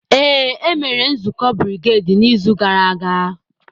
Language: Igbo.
Ee, e mere nzukọ brigedi n'izu gara aga.